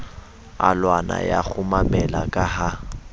alwana ya kgumamela ka ha